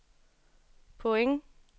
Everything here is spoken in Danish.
point